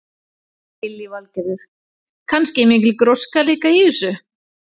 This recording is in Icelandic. Lillý Valgerður: Kannski mikil gróska líka í þessu?